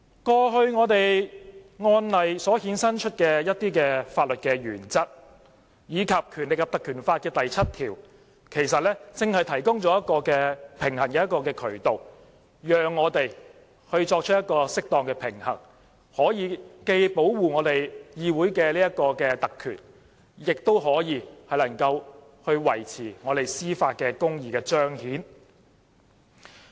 過去一些案例衍生出的法律原則，以及《條例》第7條，正正提供了一個平衡渠道，讓我們作出適當的平衡，既可以保護議會特權，亦可以維持司法公義的彰顯。